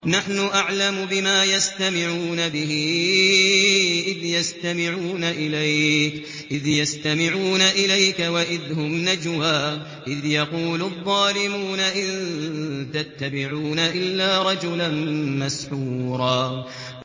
نَّحْنُ أَعْلَمُ بِمَا يَسْتَمِعُونَ بِهِ إِذْ يَسْتَمِعُونَ إِلَيْكَ وَإِذْ هُمْ نَجْوَىٰ إِذْ يَقُولُ الظَّالِمُونَ إِن تَتَّبِعُونَ إِلَّا رَجُلًا مَّسْحُورًا